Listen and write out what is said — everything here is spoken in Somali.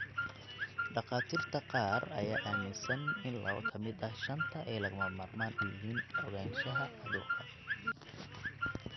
Dhakhaatiirta qaar ayaa aaminsan in laba ka mid ah shanta ay lagama maarmaan u yihiin ogaanshaha cudurka.